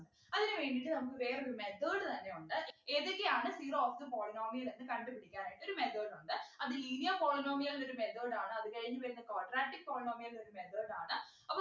അതിനു വേണ്ടീട്ട് നമുക്ക് വേറൊരു method തന്നെയുണ്ട് ഏതൊക്കെയാണ് zero of the polynomial എന്ന് കണ്ടുപിടിക്കാനായിട്ട് ഒരു method ഉണ്ട് അത് linear polynomial ൻ്റെ ഒരു method ആണ് അത് കഴിഞ്ഞിട്ട് quadratic polynomial ഒരു method ആണ് അപ്പൊ